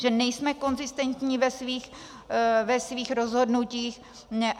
Že nejsme konzistentní ve svých rozhodnutích.